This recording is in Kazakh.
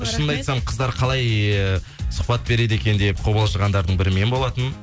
шынымды айтсам қыздар қалай сұхбат береді екен деп қобалжығандардың бірі мен болатынмын